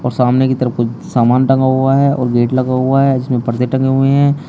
और सामने की तरफ कुछ सामान टंगा हुआ है और गेट लगा हुआ है जिसमें परदे टंगे हुए हैं।